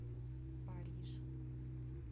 париж